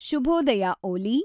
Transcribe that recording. ಶುಭೋದಯ ಓಲಿ